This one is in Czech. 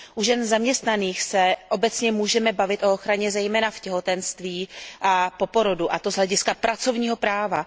U žen zaměstnaných se obecně můžeme bavit o ochraně zejména v těhotenství a po porodu, a to z hlediska pracovního práva.